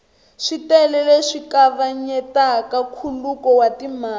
switele leswi kavanyetaka nkhuluko wa timali